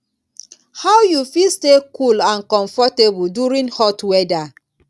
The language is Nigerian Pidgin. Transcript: how you fit stay cool and comfortable during hot weather